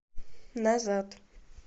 назад